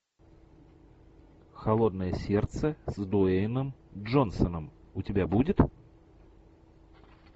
холодное сердце с дуэйном джонсоном у тебя будет